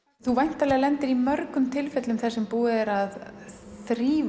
þú væntanlega lendir í mörgum tilfellum þar sem búið er að þrífa